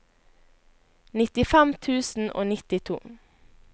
nittifem tusen og nittito